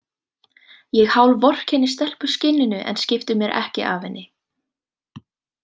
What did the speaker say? Ég hálfvorkenni stelpuskinninu en skipti mér ekki af henni.